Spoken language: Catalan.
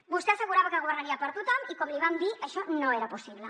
vostè assegurava que governaria per a tothom i com li vam dir això no era possible